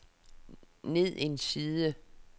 ned en side